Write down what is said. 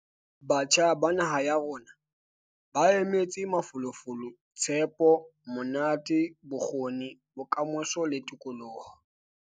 Batjha ba naha ya rona ba emetse mafolofolo, tshepo, monate, bokgoni, bokamoso le tokoloho.